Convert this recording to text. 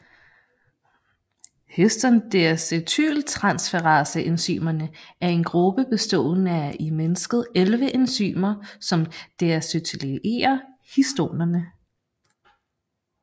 Histon deacetyltransferase enzymerne er en gruppe bestående af i mennesket 11 enzymer som deacetylerer histonerne